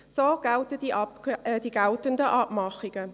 So lauten die geltenden Abmachungen.